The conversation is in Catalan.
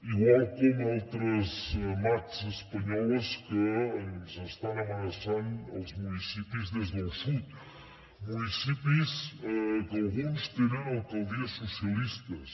igual com altres mats espanyoles que ens estan amenaçant els municipis des del sud municipis que alguns tenen alcaldies socialistes